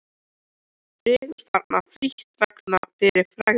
Drekkur þarna frítt vegna fyrri frægðar.